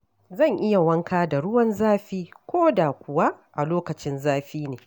Zan iya wanka da ruwan zafi ko da kuwa a lokacin zafi ne.